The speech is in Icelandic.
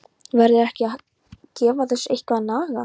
Verður ekki að gefa þessu eitthvað að naga?